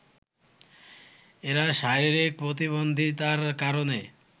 এরা শারীরিক প্রতিবন্ধিতার কারণে